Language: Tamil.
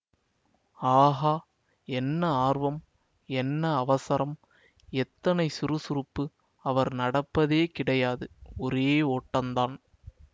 ஆகா என்ன ஆர்வம் என்ன அவசரம் எத்தனை சுறுசுறுப்பு அவர் நடப்பதே கிடையாது ஒரே ஓட்டந்தான்